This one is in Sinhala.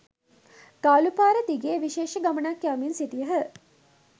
ගාලු පාර දිගේ විශේෂ ගමනක්‌ යමින් සිටියහ.